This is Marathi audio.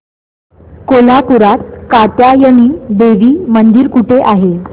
कोल्हापूरात कात्यायनी देवी मंदिर कुठे आहे